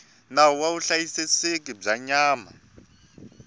nawu wa vuhlayiseki bya nyama